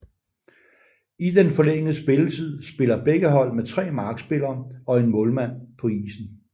I den forlængede spilletid spiller begge hold med tre markspillere og en målmand på isen